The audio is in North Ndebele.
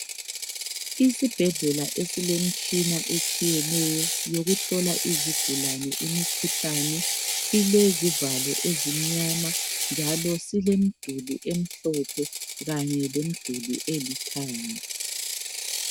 Isibhedlela esilemtshina etshiyeneyo, yokuhlola izigulane imikhuhlane . Silezivalo ezimnyama, njalo silemduli emhlophe, lemiduli elithanga.